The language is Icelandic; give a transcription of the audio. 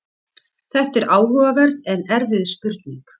Þetta er áhugaverð en erfið spurning.